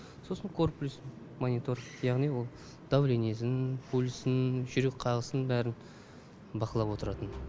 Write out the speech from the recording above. сосын корплюс монитор яғни ол давлениесін пульсін жүрек қағысын бәрін бақылап отыратын